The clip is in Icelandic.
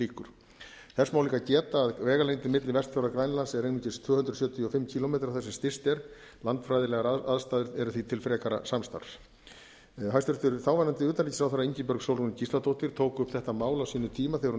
þess má líka geta að vegalengdin á milli vestfjarða og grænlands er einungis tvö hundruð sjötíu og fimm kílómetrar þar sem styst er landfræðilegar aðstæður eru því til frekara samstarfs hæstvirtur þáverandi utanríkisráðherra ingibjörg sólrún gíslatókir tók þetta mál upp á sínum tíma þegar hún